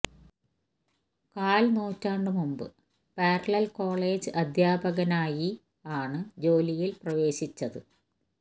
കാല് നൂറ്റാണ്ട് മുമ്പ് പാരലല് കോളേജ് അധ്യാപകനായി ആണ് ജോലിയില് പ്രവേശിച്ചത്